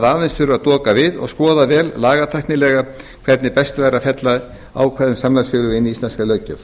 aðeins þurfi að doka við og skoða vel lagatæknilega hvernig væri best að fella ákvæði um samlagsfélög inn í íslenska löggjöf